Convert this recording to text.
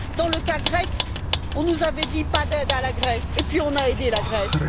Dans le cas grec, on nous avait dit pas d'aide à la Grèce, et puis on a aidé la Grèce.